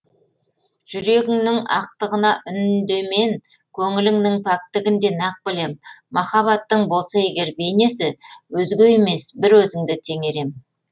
жүрегіңнің ақтығына үндемен көңіліннің пәктігін де нақ білем махаббаттың болса егер бейнесі өзге емес бір өзіңді теңер ем